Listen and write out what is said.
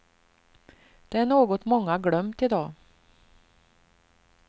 Det är något många glömt i dag.